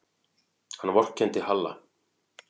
Hann vorkenndi Halla.